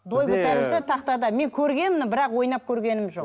дойбы тәрізді тақтада мен көргенмін бірақ ойнап көргенім жоқ